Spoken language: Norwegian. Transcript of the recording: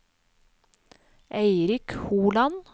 Eirik Holand